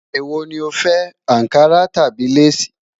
Èwò ni o fẹ́: Ànkarà tàbí lace?